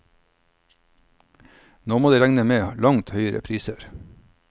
Nå må de regne med langt høyere priser.